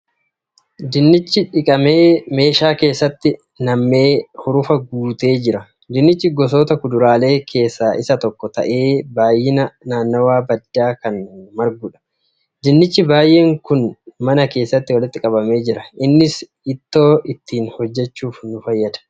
Dinnichi dhiqamee meeshaa keessatti nammee hurufa guutee jira. Dinnichi gosoota kuduraalee keessa isa tokkko ta'ee baay'inaa naannawaa baddaa kan marguudha. Dinnicha baay'een kun mana keesatti walitti qabamee jira. Innis ittoo ittiin hojjachuuf nu fayyada.